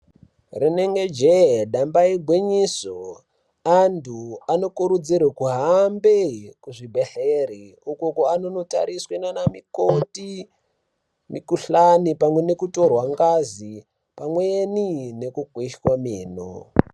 Rinengejee, damba igwinyiso antu anokurudzirwa kuhambe kuzvibhedhlera uko kwanondotariswa nana mukoti mikuhlani pamwe nekutorwa ngazi pamweni nekukweshwa meno.